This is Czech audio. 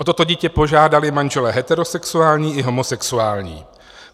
O toto dítě požádali manželé heterosexuální a homosexuální.